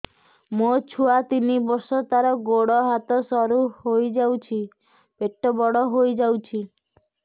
ମୋ ଛୁଆ ତିନି ବର୍ଷ ତାର ଗୋଡ ହାତ ସରୁ ହୋଇଯାଉଛି ପେଟ ବଡ ହୋଇ ଯାଉଛି